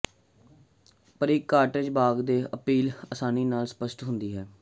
ਪਰ ਇੱਕ ਕਾਟੇਜ ਬਾਗ਼ ਦੀ ਅਪੀਲ ਆਸਾਨੀ ਨਾਲ ਸਪੱਸ਼ਟ ਹੁੰਦੀ ਹੈ